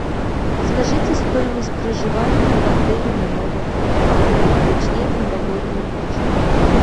скажите стоимость проживания в отеле на новый год а точнее в новогоднюю ночь